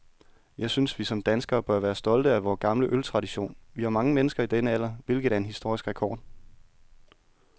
Jeg synes, vi som danskere bør være stolte af vor gamle øltradition. Vi har mange mennesker i denne alder, hvilket er en historisk rekord.